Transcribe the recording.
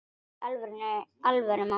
Í alvöru, mamma.